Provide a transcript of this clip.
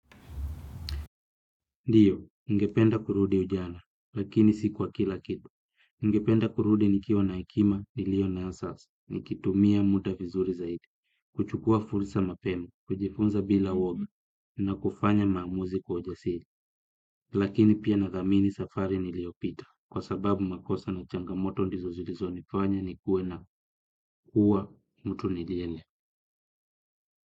Ndiyo, ningependa kurudi ujana, lakini sikwa kila kitu. Ningependa kurudi nikiwa na ekima, nilio nayo sasa, nikitumia muda vizuri zaidi, kuchukua fursa mapema, kujifunza bila uoga, na kufanya maamuzi kwa ujasiri. Lakini pia nathamini safari niliyopita, kwa sababu makosa na changamoto ndizo zilizo nifanya nikuwe na kuwa mtu nijenia.